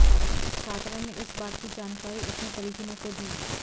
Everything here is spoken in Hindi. छात्रा ने इस बात की जानकारी अपने परिजनों को दी